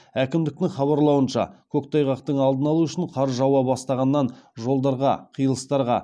әкімдіктің хабарлауынша көктайғақтың алдын алу үшін қар жауа бастағаннан жолдарға қиылыстарға